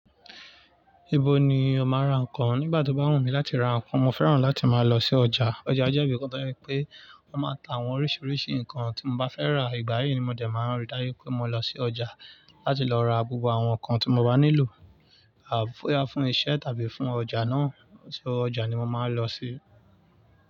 Ibo ni ọ̀ máa ra nǹkan? Nígbà tí ó bá wùmí láti ra nǹkan, mo fẹ́ràn láti máa lọ sí ọjà. Ọjà jẹ́ ibì kan tó jẹ pé wọ́n máa ń ta àwọn oríṣiríṣi nǹkan tí mo bá fẹ́ rà. Ìgbà yí ni mo dẹ̀ máa ń rí dáju pé mo lọ sí ọjà láti lọ ra gbogbo àwọn nǹkan tí mo bá nílò, bóyá fun iṣẹ́ tàbí fún ọjà náà. Ṣo ọjà ni mo máa ń lọ sí?